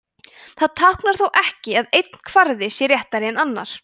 það táknar þó ekki að einn kvarði sé réttari en annar